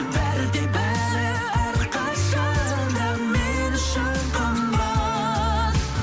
бәрі де бәрі әрқашан да мен үшін қымбат